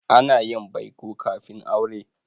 Ana yin baiko kafin aure.